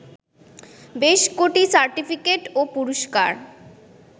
বেশ কটি সার্টিফিকেট ও পুরস্কার